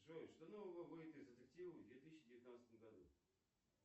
джой что нового выйдет из детективов в две тысячи девятнадцатом году